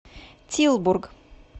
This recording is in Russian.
тилбург